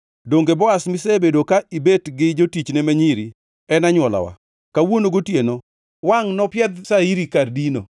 Donge Boaz, misebedo ka ibet gi jotichne ma nyiri, en anywolawa? Kawuono gotieno wangʼ nopiedh shairi kar dino.